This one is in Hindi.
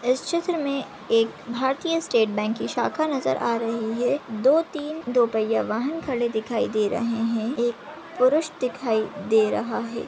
इस चित्र मे एक भारतीय स्टेट बैंक की शाखा नज़र आ रही है दो तीन दो पये वाहन खड़े दिखाई दे रहे है एक पुरुष दिखाई दे रहा है।